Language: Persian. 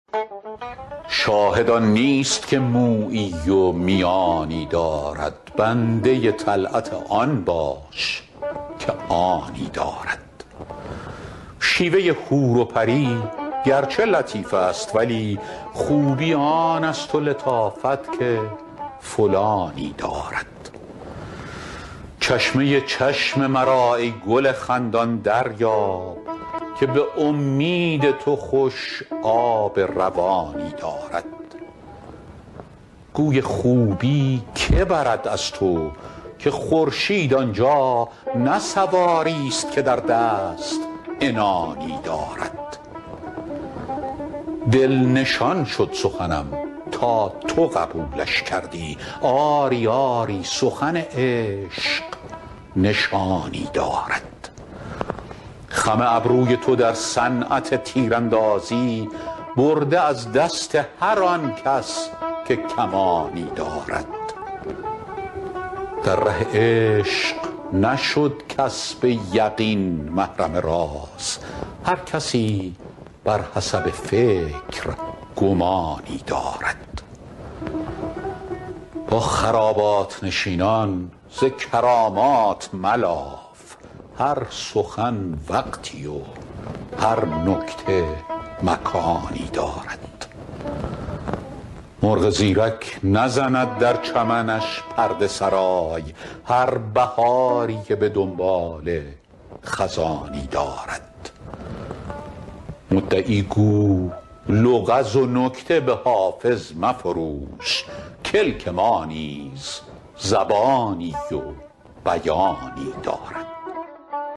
شاهد آن نیست که مویی و میانی دارد بنده طلعت آن باش که آنی دارد شیوه حور و پری گرچه لطیف است ولی خوبی آن است و لطافت که فلانی دارد چشمه چشم مرا ای گل خندان دریاب که به امید تو خوش آب روانی دارد گوی خوبی که برد از تو که خورشید آن جا نه سواریست که در دست عنانی دارد دل نشان شد سخنم تا تو قبولش کردی آری آری سخن عشق نشانی دارد خم ابروی تو در صنعت تیراندازی برده از دست هر آن کس که کمانی دارد در ره عشق نشد کس به یقین محرم راز هر کسی بر حسب فکر گمانی دارد با خرابات نشینان ز کرامات ملاف هر سخن وقتی و هر نکته مکانی دارد مرغ زیرک نزند در چمنش پرده سرای هر بهاری که به دنباله خزانی دارد مدعی گو لغز و نکته به حافظ مفروش کلک ما نیز زبانی و بیانی دارد